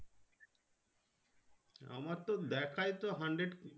আমারতো দেখায়তো hundred